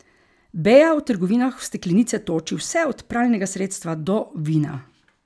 Bea v trgovinah v steklenice toči vse od pralnega sredstva do vina.